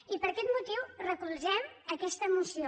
i per aquest motiu recolzem aquesta moció